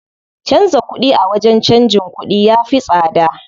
Canza kuɗi a wajen canjin kuɗi ya fi tsada.